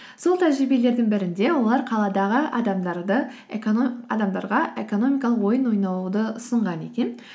сол тәжірибелердің бірінде олар қаладағы адамдарға экономикалық ойын ойнауды ұсынған екен